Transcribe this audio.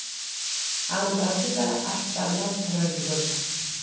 аңдады да арттарынан тұра жүгірді